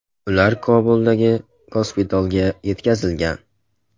Ular Kobuldagi gospitalga yetkazilgan.